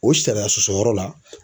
O sariya sɔsɔ yɔrɔ la